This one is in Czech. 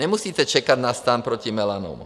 Nemusíte čekat na Stan proti melanomu.